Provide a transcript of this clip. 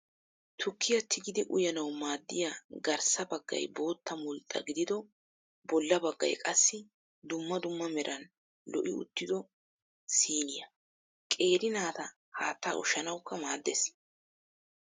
Tukkiyaa tigidi uyyanawu maaddiya garssa baggay bootta mulxxa gidido bolla baggayi qassi dumma dumma meran lo'i uttido siiniyaa. Qeeri naata haatta ushshanawukka maaddes.